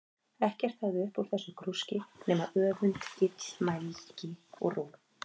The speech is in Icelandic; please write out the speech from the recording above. Ekkert hafði hann upp úr þessu grúski sínu nema öfund, illmælgi, og róg.